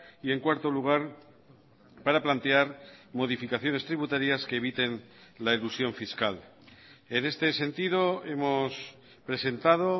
y en cuarto lugar para plantear modificaciones tributarias que eviten la elusión fiscal en este sentido hemos presentado